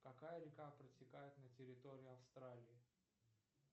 какая река протекает на территории австралии